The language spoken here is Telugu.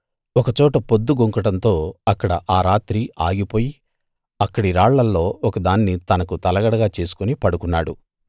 ఒకచోట పొద్దుగుంకడంతో అక్కడ ఆ రాత్రి ఆగిపోయి అక్కడి రాళ్ళలో ఒక దాన్ని తనకు తలగడగా చేసుకుని పడుకున్నాడు